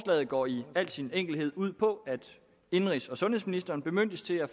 går i al sin enkelhed ud på at indenrigs og sundhedsministeren bemyndiges til at